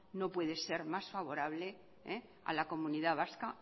no puede ser más favorable a la comunidad vasca